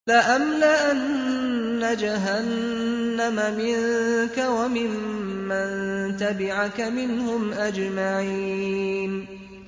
لَأَمْلَأَنَّ جَهَنَّمَ مِنكَ وَمِمَّن تَبِعَكَ مِنْهُمْ أَجْمَعِينَ